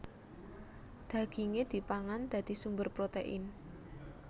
Dagingé dipangan dadi sumber protein